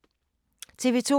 TV 2